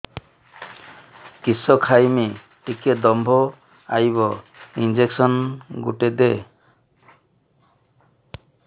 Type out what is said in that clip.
କିସ ଖାଇମି ଟିକେ ଦମ୍ଭ ଆଇବ ଇଞ୍ଜେକସନ ଗୁଟେ ଦେ